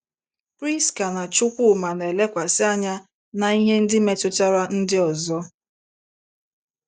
Priska na Chukwuma “ na - elekwasị anya ” n’ihe ndị metụtara ndị ọzọ.